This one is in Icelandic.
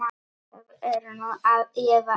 Það er nú eða aldrei.